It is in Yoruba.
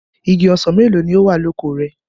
Igi ọsàn mélòó ni ó wà oko rẹ?